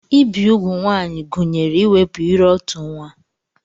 Ibi úgwù ụmụ nwaanyị gụnyere iwepụ ire-otu nwa.